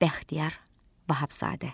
Bəxtiyar Vahabzadə.